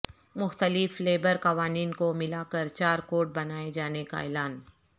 مختلف لیبر قوانین کو ملا کر چار کوڈ بنائے جانے کا اعلان